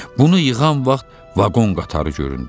Bunu yığan vaxt vaqon qatarı göründü.